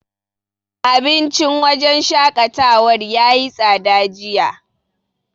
Abincin wajen shaƙatawar yayi tsada jiya.